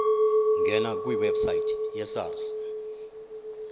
ngena kwiwebsite yesars